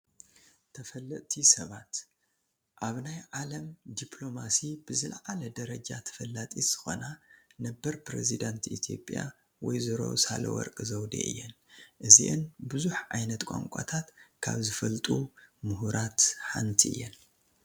ተፈለጥቲ ሰባት፡- ኣብ ናይ ዓለም ዲኘሎማሲ ብዝላዓለ ደረጃ ተፈላጢት ዝኾና ነበር ኘሬዚዳንት ኢትዮጵያ ወ/ሮ ሳህለወርቅ ዘውዴ እየን፡፡ እዚአን ብዙሕ ዓይነት ቋንቋታት ካብ ዝፈልጡ ሙሁራት ሓንቲ እየን፡፡